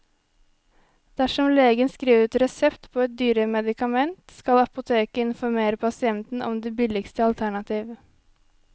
Dersom legen skriver ut resept på et dyrere medikament, skal apoteket informere pasienten om det billigste alternativ.